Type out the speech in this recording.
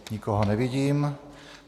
Nikoho nevidím.